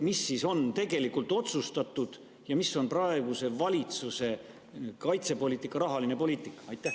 Mis on tegelikult otsustatud ja milline on praeguse valitsuse kaitsepoliitika rahaline poliitika?